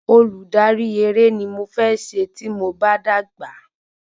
Olùdarí eré ni mo fẹ́ se tí mo bá dàgbà